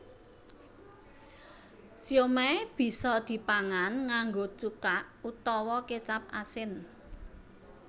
Siomai bisa dipangan nganggo cuka utawa kécap asin